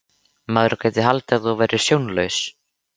Maður gæti haldið að þú værir sjónlaus!